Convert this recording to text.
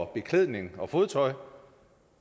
beklædning og fodtøj